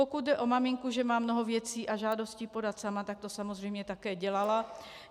Pokud jde o maminku, že má mnoho věcí a žádostí podat sama, tak to samozřejmě také dělala.